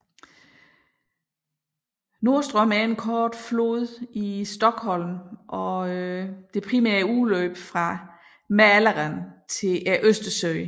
Norrström er en kort flod i Stockholm og det primære udløb fra Mälaren til Østersøen